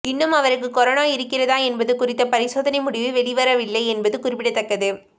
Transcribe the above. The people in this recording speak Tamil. இன்னும் அவருக்கு கொரோனா இருக்கிறதா என்பது குறித்த பரிசோதனை முடிவு வெளிவரவில்லை என்பது குறிப்பிடத்தக்கது